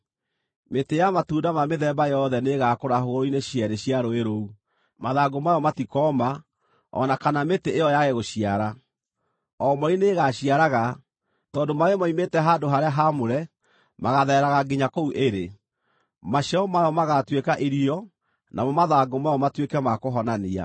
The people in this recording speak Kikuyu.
Mĩtĩ ya matunda ma mĩthemba yothe nĩĩgakũra hũgũrũrũ-inĩ cierĩ cia rũũĩ rũu. Mathangũ mayo matikooma, o na kana mĩtĩ ĩyo yaage gũciara. O mweri nĩĩgaciaraga, tondũ maaĩ moimĩte handũ-harĩa-haamũre magaathereraga nginya kũu ĩrĩ. Maciaro mayo magaatuĩka irio namo mathangũ mayo matuĩke ma kũhonania.”